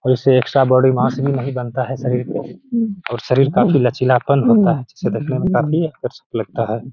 और उससे एक सा बॉडी मास भी नही बनता है शरीर को और शारीर काफी लचीलापन होता है इसे देखने में काफी आकर्षक लगता है।